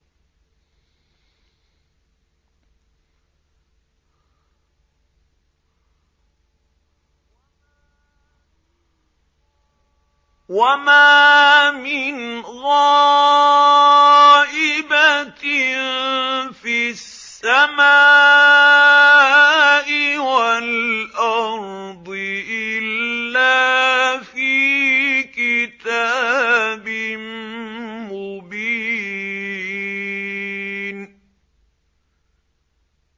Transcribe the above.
وَمَا مِنْ غَائِبَةٍ فِي السَّمَاءِ وَالْأَرْضِ إِلَّا فِي كِتَابٍ مُّبِينٍ